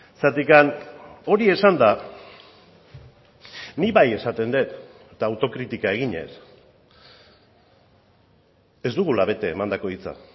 zergatik hori esanda nik bai esaten dut eta autokritika eginez ez dugula bete emandako hitza